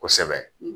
Kosɛbɛ